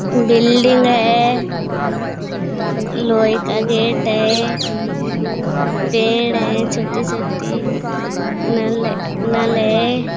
Building है लोहे का गेट है पेड़ है छोटी-छोटी न नल है।